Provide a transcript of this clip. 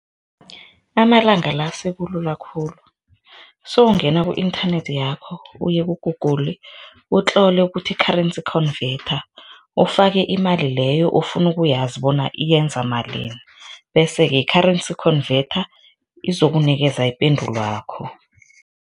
Amalanga la sekulula khulu, sewungena ku-inthanethi yakho uyeku-Google, utlole ukuthi-currency converter, ufake imali leyo ofuna ukuyazi bona yenza malini bese-ke, currency converter izokunikeza ipendulwakho.